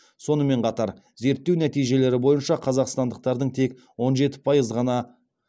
сонымен қатар зерттеу нәтижелері бойынша қазақстандықтардың тек он жеті пайыз ғана